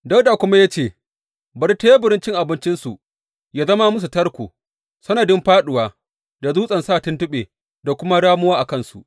Dawuda kuma ya ce, Bari teburin cin abincinsu yă zama musu tarko, sanadin fāɗuwa da dutsen sa tuntuɓe da kuma ramuwa a kansu.